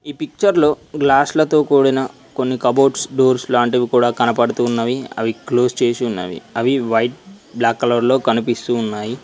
పిక్చర్లో గ్లాసు లతో కూడిన కొన్ని కబోర్డ్స్ డోర్స్ లాంటివి కూడా కనపడుతు ఉన్నవి అవి క్లోజ్ చేసి ఉన్నది అవి వైట్ బ్లాక్ కలర్ లో కనిపిస్తున్నవి.